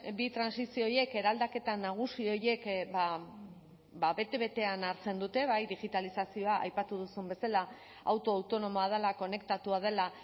bi trantsizio horiek eraldaketa nagusi horiek bete betean hartzen dute bai digitalizazioa aipatu duzun bezala auto autonomoa dela konektatua dela